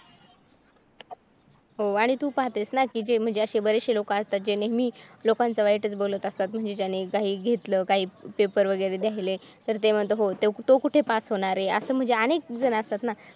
हो आणि तू पाहतेस ना की जे असे बरेचसे लोक असतात जे नेहमी लोकांचा वाईटच बोलत असतात म्हणजे त्यांनी घेतलं काही पेपर वगैरे द्यायचे तर ते म्हणतात हो तो कुठे पास होणार आहे असं म्हणजे अनेक जण असतात ना.